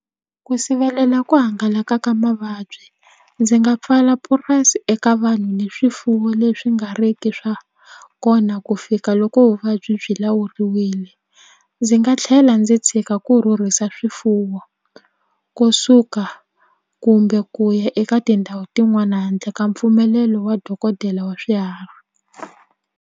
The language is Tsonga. Ku sivelela ku hangalaka ka mavabyi ndzi nga pfala purasi eka vanhu ni swifuwo leswi nga riki swa kona ku fika loko vuvabyi byi lawuriwile ndzi nga tlhela ndzi tshika ku rhurhisa swifuwo ko suka kumbe ku ya eka tindhawu tin'wana handle ka mpfumelelo wa dokodela wa swiharhi.